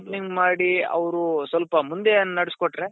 opening ಮಾಡಿ ಅವ್ರು ಸ್ವಲ್ಪ ಮುಂದೆ ನಡೆಸ್ಕೋಟ್ರೇ